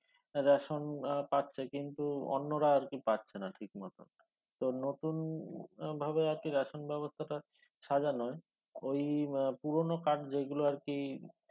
ration আহ পাচ্ছে কিন্তু অন্যরা আরকি পাচ্ছে না ঠিকমত তো নতুন আহ ভাবে ration ব্যবস্থাটা সাজানোয় ওই আহ পুরানো card যেইগুলো আরকি